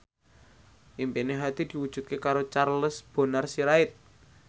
impine Hadi diwujudke karo Charles Bonar Sirait